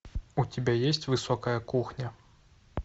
у тебя есть высокая кухня